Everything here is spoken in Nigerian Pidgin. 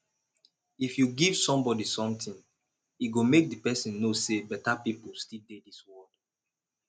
if you give somebody something e go make the person know say beta people still dey dis world